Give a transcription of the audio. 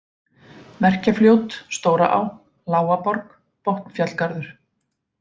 Merkjafljót, Stóraá, Lágaborg, Botnafjallgarður